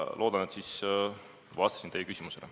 Loodan, et ma vastasin teie küsimusele.